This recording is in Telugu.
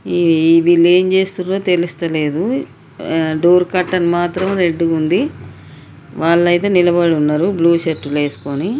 ఈ-ఈ-ఈ వీళ్లు ఏమీ చేస్తున్ద్రో తెలుస్తలేదు. అ డోర్ కర్టెన్ మాత్రం రెడ్ గ ఉంది. వాళ్ళు ఐతే నిలబడి ఉన్నరు బ్లూ షర్ట్ లు వేసుకుని.